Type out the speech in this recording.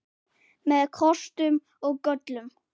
Með kostum og göllum.